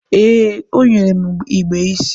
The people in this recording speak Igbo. ee, o nyere m igbe isii